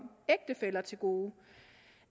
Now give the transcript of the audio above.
ægtefæller til gode